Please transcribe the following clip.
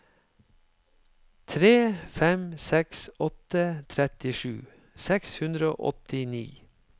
tre fem seks åtte trettisju seks hundre og åttini